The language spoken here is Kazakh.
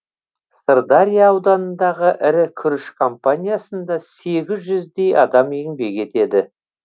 сырдария ауданындағы ірі күріш компаниясында сегіз жүздей адам еңбек етеді